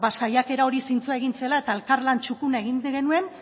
saiakera hori zintzoa egin zela eta elkarlan txukuna egin genuen